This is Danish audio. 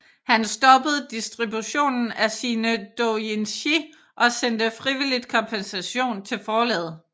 Han stoppede distributionen af sine doujinshi og sendte frivilligt kompensation til forlaget